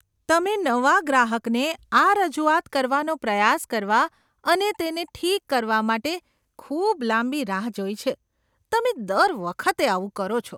તમે નવા ગ્રાહકને આ રજૂઆત કરવાનો પ્રયાસ કરવા અને તેને ઠીક કરવા માટે ખૂબ લાંબી રાહ જોઈ છે. તમે દર વખતે આવું કરો છો.